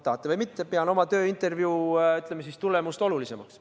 Tahate või mitte, ma pean oma tööintervjuu tulemust olulisemaks.